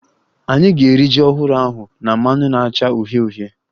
Anyị ga-eri ji ọhụrụ ahụ na mmanụ na-acha uhie uhie